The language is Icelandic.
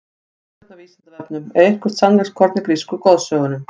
Frekara lesefni á Vísindavefnum: Er eitthvert sannleikskorn í grísku goðsögunum?